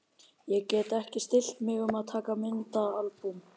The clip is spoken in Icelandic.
Ég gat ekki stillt mig um að taka myndaalbúm.